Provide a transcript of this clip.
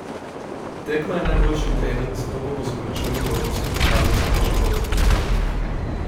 Tekma je najboljši trening, zato bomo z obračuni v evropskem pokalu samo še bolj napredovali.